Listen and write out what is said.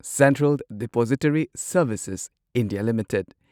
central depository services India limited